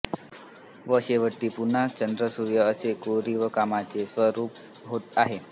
व शेवटी पुन्हा चंद्रसूर्य असे कोरीवकामाचे स्वरूप आहे